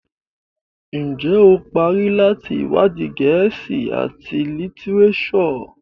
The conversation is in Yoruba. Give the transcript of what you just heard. Njé o parí láti iwadi Gèésì at litireso?